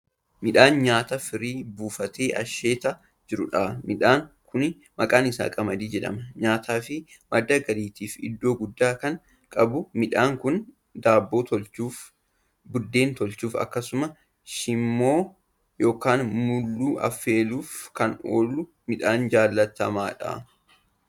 Midhaan nyaataa firii buufatee asheetaa jiruudha. midhaan Kuni maqaan isaa qamadii jidhama. nyaataafi madda galiitiif iddoo guddaa Kan qabuudha midhaan Kuni daabboo toolchuuf, buddeena toolchuuf, akkasumas shiimmoo yookaan mulluu affeeluuf Kan oolu midhaan jaalatamaadha.